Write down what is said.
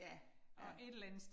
Ja, ja